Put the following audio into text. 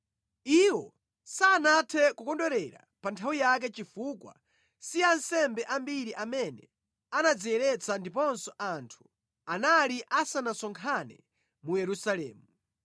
Iwo sanathe kukondwerera pa nthawi yake chifukwa si ansembe ambiri amene anadziyeretsa ndiponso anthu anali asanasonkhane mu Yerusalemu.